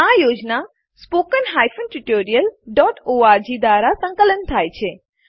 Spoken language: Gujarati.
આ યોજના httpspoken tutorialorg દ્વારા સંકલન થાય છે